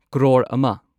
ꯀ꯭ꯔꯣꯔ ꯑꯃ